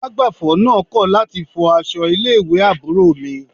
Alágbàfọ̀ náà kọ̀ láti fọ aṣọ ilé ìwé àbúrò mi